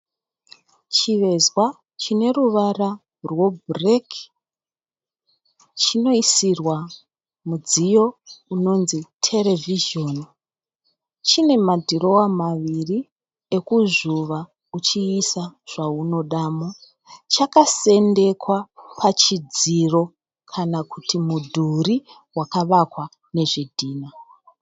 Chivezwa chine ruvara rwebhureki. Chinoisirwa mudziyo unonzi terevhizhoni. Chine madhirowa maviri ekuzvuva uchiisa zvaunodamo. Chakasendekwa pachidziro kana kuti mudhuri wakavakwa nezvidhinha.